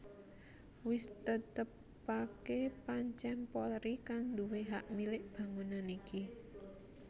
Wis ditetepaké pancèn Polri kang nduwé hak milik bangunan iki